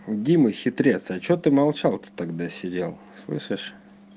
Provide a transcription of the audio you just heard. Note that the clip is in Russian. дима хитрец а что ты молчал ты тогда сидел слышишь